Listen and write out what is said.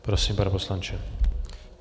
Prosím, pane poslanče.